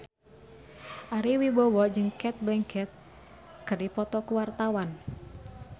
Ari Wibowo jeung Cate Blanchett keur dipoto ku wartawan